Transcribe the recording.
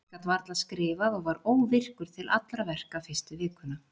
Ég gat varla skrifað og var óvirkur til allra verka fyrstu vikuna.